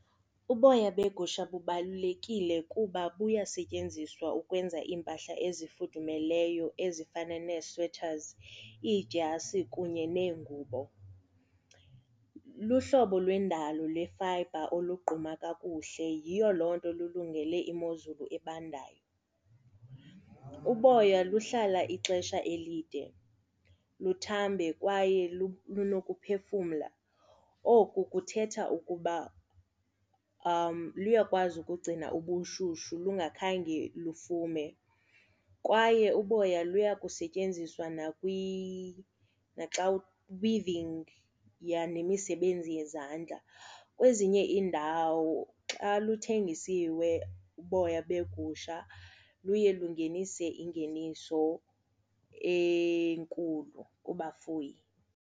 Uboya begusha bubalulekile kuba buyasetyenziswa ukwenza iimpahla ezifudumeleyo ezifana nee-sweaters, iidyasi kunye neengubo. Luhlobo lwendalo lweyefayibha olugquma kakuhle, yiyo loo nto lululungele imozulu ebandayo. Uboya luhlala ixesha elide, luthambe kwaye lunokuphefumla, oku kuthetha ukuba liyakwazi ukugcina ubushushu lungakhange lufumane. Kwaye uboya luya kusetyenziswa naxa weaving nemisebenzi, yha, nemisebenzi yezandla. Kwezinye iindawo xa luthengisiwe uboya begusha luye lungenise ingeniso enkulu kubafuyi.